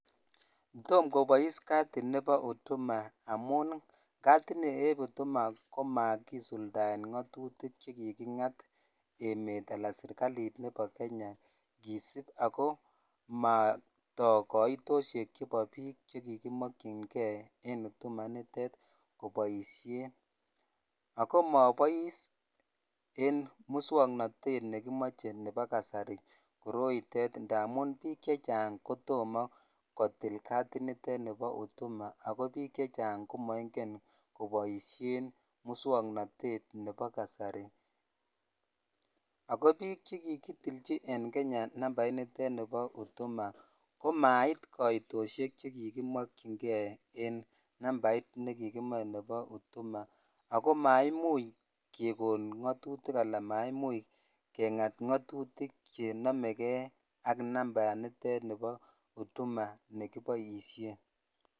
Tom kobois kadit nebo huduma amun kadit nieb huduma komakisuldaen ngatutik che kikingat emet anan serikalit nebo Kenya kisub ago matok kaitosiek chebo biik che kikimokyinge en huduma initet koboisien. Ago mobois en muswoknatet nekimoche nebo kasari koroitet ndamun biik chechang kotomo kotil kadit nitet nibo huduma ago biik che chang komaingen koboisien muswoknatet nebo kasari. Ago biik chekikitilchi en Kenya nambait nitet nebo huduma komait koitosiek chekikimokyin nge en nambait nekikomoe nebo huduma ago maimuch kegon ngatutik anan maimuch kengat ngatutik chenamege ak nambaanitet nebo huduma nekiboisien.